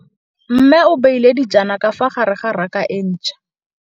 Mmê o beile dijana ka fa gare ga raka e ntšha.